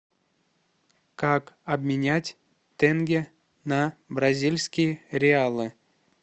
как обменять тенге на бразильские реалы